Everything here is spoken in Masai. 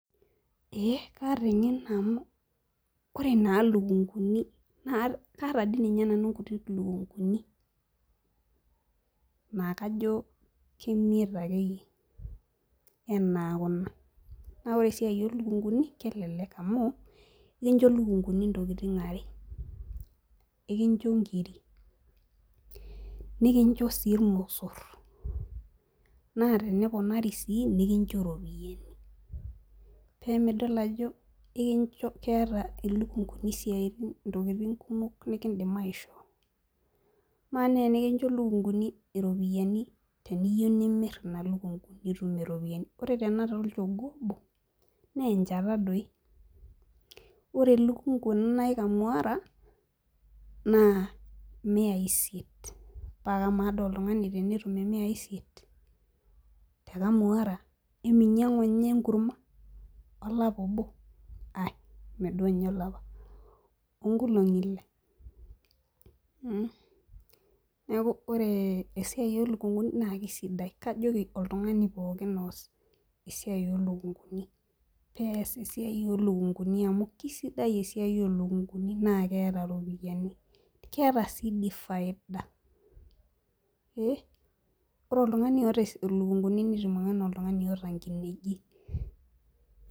ee kaata engeno amu ore naa ilukunkuni naa, kaata dii ninye nanu inkuti lukunkuni naa kajo, kemiet akeyie aanaa kuna. naa ore esiai o lukunkuni naa kelelk amu ekinch ilukunkuni ntokitin are, ekincho nkiri, nikincho sii ilosor. naa teneponari sii nikincho ropiyiani. paa midol ajoo keeta ilukunkuni ntokitin kumok, nikidim aishoo. amaa naa tenikincho lukunkuni iropiyiani teniyieu nimir ilukunku pee itum iropiyiani. ore tenakata olchogoo obo naa enchata doi, ore elukunku ena naji kamuara na imiai isiet. paa kama dii ioltungani tenetum imiai isiet te kamuara, eminyiangu ninye enkurma olapa obo aeime duo ninye olapa nkulongi ile. neeku ore esiai oolukunkuni na kisidai, kajoki oltungani pookin oos esiiai oolukunkuni pees esiai amu kisidai esiai oolukunkuni na keta iropiyiani keeta sii dii faida.ee ore oltungani oota lukunkuni netiiu ake ana oltungani oota nkineji.